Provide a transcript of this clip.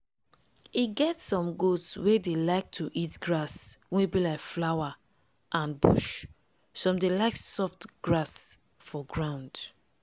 e get some goat wey dey like to eat grass wey be like flower and bush some dey like soft grass for ground.